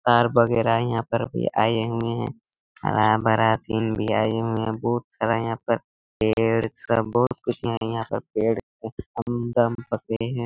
तार बगैरा यहाँ पर भी आए हुए है हरा-भरा सीन भी आए हुए है बहुत सारा यहाँ पर पेड़ सब बहुत खुश है यहाँ पर पेड़ कए फल दम पके हैं।